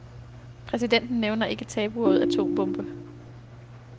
Præsidenten nævner ikke tabuordet atombombe.